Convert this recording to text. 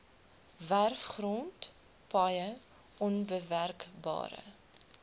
werfgrond paaie onbewerkbare